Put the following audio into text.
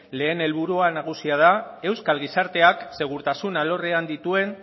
lehen helburu nagusia da euskal gizarteak segurtasun alorrean dituen